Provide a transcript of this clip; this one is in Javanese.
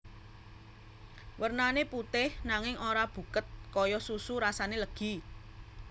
Wernané putih nanging ora buket kaya susu rasane legi